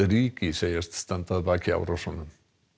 ríkið segist standa að baki árásunum